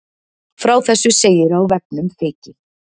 Frá þessu segir á vefnum Feyki